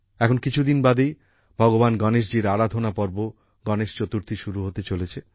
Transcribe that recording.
এখন কিছুদিন বাদেই ভগবান গণেশজীর আরাধনা পর্ব গণেশ চতুর্থী শুরু হতে চলেছে